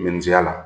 Minzeya la